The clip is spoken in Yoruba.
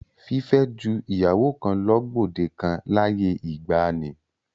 Fífẹ́ ju ìyàwó kan lọ gbòde kan láyé ìgbaanì.